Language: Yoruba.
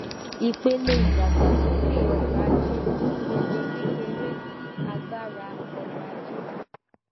ipele idagbasoke ọrọ-aje ipele kekere ti agbara ọrọ-aje